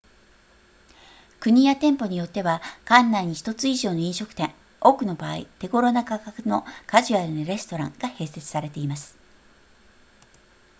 国や店舗によっては館内に1つ以上の飲食店多くの場合手ごろな価格のカジュアルなレストランが併設されています